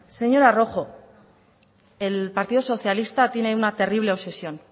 señora rojo el partido socialista tiene una terrible obsesión